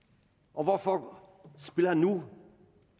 og hvorfor spiller han nu